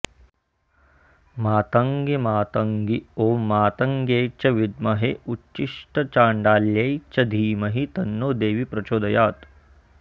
मातङ्गी मातङ्गी ॐ मातङ्ग्यै च विद्महे उच्छिष्टचाण्डाल्यै च धीमहि तन्नो देवी प्रचोदयात्